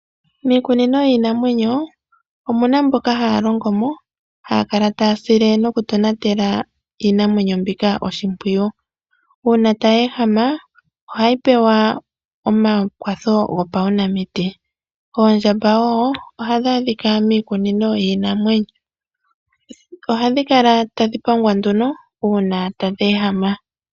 Miikunino yiinamwneyo omuna mboka haya longo mo haya kala taya sile noku tonatela iinamwenyo mbika oshimpwiyu. Uuna tayi ehama ohayi pewa omakwatho gopaunamiti. Oondjamba wo ohadhi adhika miikunino yiinamwenyo, ohadhi kala tadhi pangwa nduno uuna tadhi ehama.